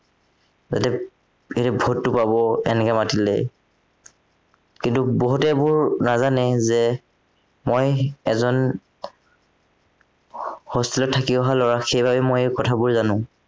সিহঁতে সিহঁতে ভোটতো পাব এনেকে মাতিলে কিন্তু বহুতে এইবোৰ নাজানে যে, মই এজন hostel ত থাকি অহা লৰা সেইবাবে মই এইবোৰ কথাবোৰ জানো